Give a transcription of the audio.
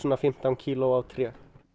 fimmtán kíló á tré